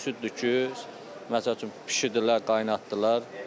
Süddür ki, məsəl üçün, bişirdilər, qaynatdılar.